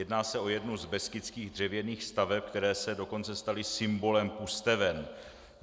Jedná se o jednu z beskydských dřevěných staveb, které se dokonce staly symbolem Pusteven.